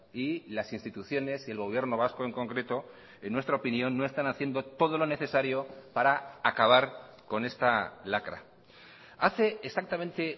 y las instituciones y el gobierno vasco en concreto en nuestra opinión no están haciendo todo lo necesario para acabar con esta lacra hace exactamente